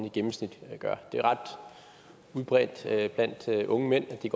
i gennemsnit gør det er ret udbredt blandt unge mænd at de